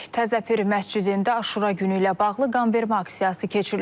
Təzə Pir məscidində Aşura günü ilə bağlı qanvermə aksiyası keçirilib.